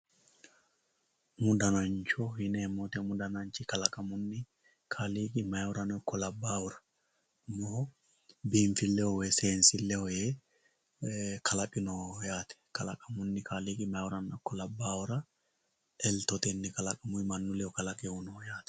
Umu danancho yineemmo, umu dananchi kalaqamunni kaaliiqi mayiihurano ikko labbahura biinfileho woyi seensileho yee kalaqinoho yaate kalaqamunni kaaliiqi labbahuranna eltotenni woyi manchu ledo kalaqe uyinoho yaate.